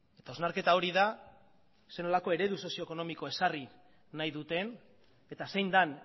eta hausnarketa hori da zer nolako eredu sozio ekonomiko ezarri nahi duten eta zein den